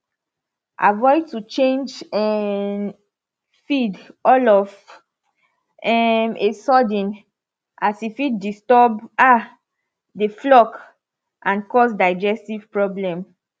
avoid to change um feed all of um a sudden as e fit disturb um the flock and cause digestive problem